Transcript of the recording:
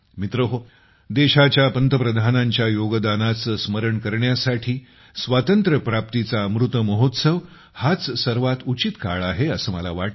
मित्रहो देशाच्या पंतप्रधानांच्या योगदानाचे स्मरण करण्यासाठी स्वातंत्र्यप्राप्तीचा अमृत महोत्सव हाच सर्वात उचित काळ आहे असे मला वाटते